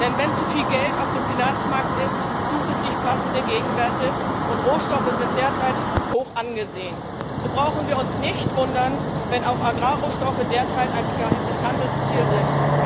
Denn wenn zu viel Geld auf dem Finanzmarkt ist, sucht es sich passende Gegenwerte, und Rohstoffe sind derzeit hoch angesehen. So brauchen wir uns nicht zu wundern, wenn auch Agrarrohstoffe derzeit ein begehrtes Handelsziel sind.